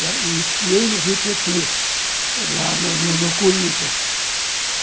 E esquiei no Rio Tietê, lá no no no Corinthians.